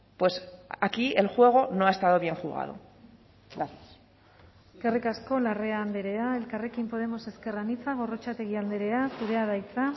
pues aquí el juego no ha estado bien jugado eskerrik asko larrea andrea elkarrekin podemos ezker anitza gorrotxategi andrea zurea da hitza